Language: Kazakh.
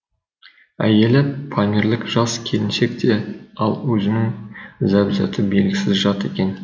әйелі памирлік жас келіншек те ал өзінің зәузаты белгісіз жат екен